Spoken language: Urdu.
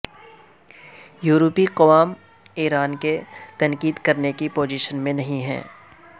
یورپی اقوام ایران پر تنقید کرنے کی پوزیشن میں نہیں ہیں